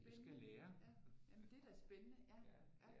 Spændende ja jamen men det er da spændende ja ja